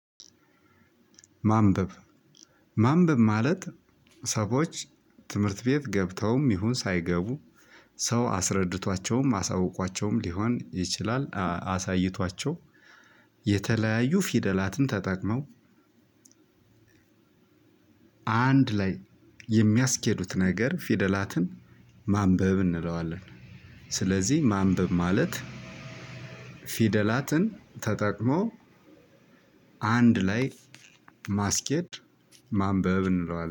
ማንበብ ማንበብ ማለት ሰዎች ትምህርት ቤት ገብተውም ይሁን ሳይገቡ ሰው አስረድቷቸውም አሳውቋቸውም ሊሆን ይችላል አሳይቷቸው የተለያዩ ፊደላትን ተጠቅመው አንድ ላይ የሚያስኬዱት ነገር ፊደላትን ማንበብ እንለዋለን። ስለዚህ ማንበብ ማለት ፊደላትን ተጠቅሞ አንድ ላይ ማስኬድ ማንበብ እንለዋለን